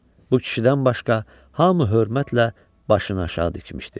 Bu kişidən başqa hamı hörmətlə başını aşağı dikmişdi.